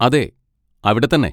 അതെ, അവിടെ തന്നെ.